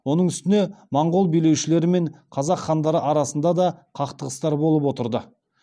оның үстіне моңғол билеушілері мен қазақ хандары арасында да қақтығыстар болып отырды